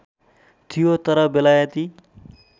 थियो तर बेलायती